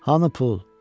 Hanı pul?